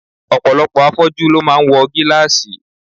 Ọ̀pọ̀lọpọ̀ afọ́jú ló máa ń wọ gílàsì